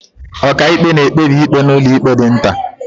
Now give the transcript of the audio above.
Ọkàikpe na-ekpebi ikpe n'ụlọikpe dị nta.